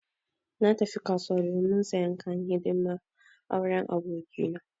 Na tafi kasuwa domin sayan kayan hidiman auren aboki na.